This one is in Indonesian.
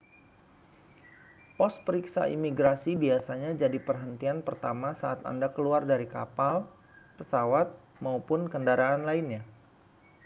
pos periksa imigrasi biasanya jadi perhentian pertama saat anda keluar dari kapal pesawat maupun kendaraan lainnya